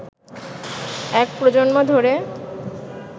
এক প্রজন্ম ধরে